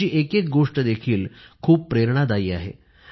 त्यांची एकएक गोष्ट देखील खूप प्रेरणादायी आहे